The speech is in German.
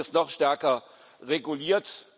Und es wird jetzt noch stärker reguliert.